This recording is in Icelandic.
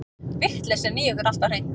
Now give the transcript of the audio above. Vitleysan í ykkur alltaf hreint.